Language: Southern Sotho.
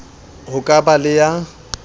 ho ka ba le ya